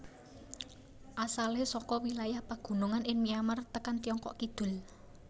Asalé saka wilayah pagunungan ing Myanmar tekan Tiongkok kidul